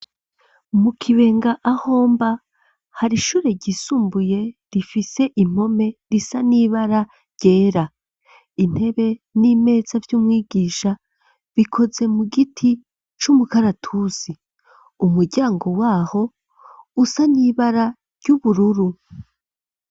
Mu Kibenga, ahomba, hari ishure ryisumbuye, rifise impome, risa n'ibara ryera; intebe, n'imeza vy'umwigisha, bikoze mu giti c'umukaratusi; umuryango w'aho usa n'ibara ry'ubururu.